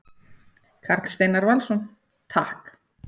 Karl Steinar Valsson: Takk.